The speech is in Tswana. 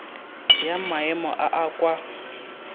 ya maemo a a kwa